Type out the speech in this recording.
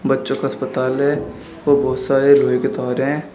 बच्चों का अस्पताल है और बहोत सारे लोहे के तार हैं।